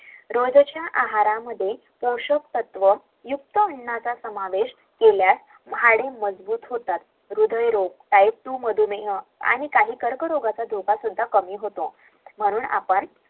रोजच्या आहारमध्ये पोशाक तत्व असलेले अन्न घेतले पाहिजे